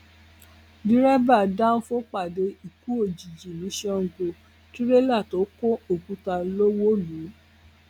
derébà dánfọ pàdé ikú òjijì ní sango tirẹla tó kọ òkúta ló wó lù ú